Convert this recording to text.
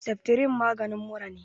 Seftrin maganin mura ne